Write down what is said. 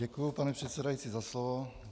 Děkuji, pane předsedající, za slovo.